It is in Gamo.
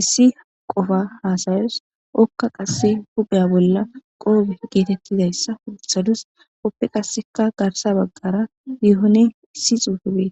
issi qofa hasayawus. Okka qassi huuphiya bolla qoophe geetidayssa woththaduss. Ippe qasseka garssa bagara yehonne issi xuufezi beetees.